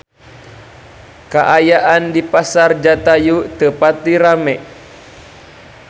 Kaayaan di Pasar Jatayu teu pati rame